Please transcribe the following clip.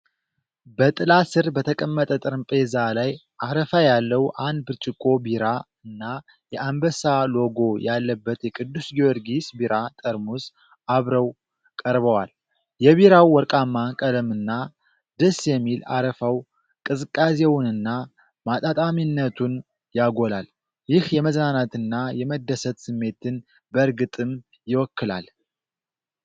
በጥላ ስር በተቀመጠ ጠረጴዛ ላይ፣ አረፋ ያለው አንድ ብርጭቆ ቢራ እና የአንበሳ ሎጎ ያለበት የቅዱስ ጊዮርጊስ ቢራ ጠርሙስ አብረው ቀርበዋል። የቢራው ወርቃማ ቀለምና ደስ የሚል አረፋው ቅዝቃዜውንና ማጣጣሚያነቱን ያጎላል። ይህ የመዝናናትና የመደሰት ስሜትን በእርግጥም ይወክላል።